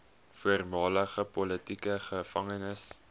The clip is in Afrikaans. voormalige politieke gevangenes